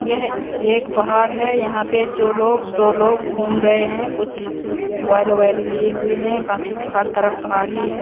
यह एक पहाड़ है यहां पे जो लोग दो लोग घूम रहे हैं कुछ लिए हुए हैं बाकी हर तरफ पहाड़ ही है।